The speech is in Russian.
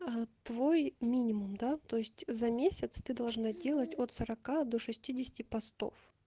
твой минимум да то есть за месяц ты должна делать от сорока до шестидесяти постов